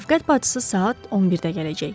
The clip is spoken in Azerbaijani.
Şəfqət bacısı saat 11-də gələcək.